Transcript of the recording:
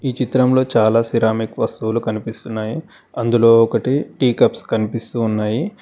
ఈ చిత్రంలో చాలా సిరామిక్ వస్తువులు కనిపిస్తున్నాయి అందులో ఒకటి టీ కప్స్ కనిపిస్తూ ఉన్నాయి.